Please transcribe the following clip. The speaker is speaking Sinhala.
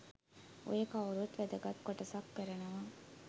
ඔය කවුරුත් වැදගත් කොටසක් කරනවා.